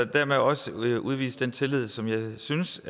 dermed også udvise den tillid som jeg synes